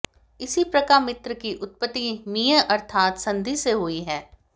इसी प्रका मित्र की उत्पत्ति मींय अर्थात संधि से हुई है